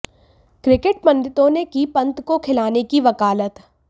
cricket पंडितों ने की पंत को खिलाने की वकालत